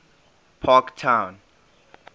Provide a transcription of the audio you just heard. parktown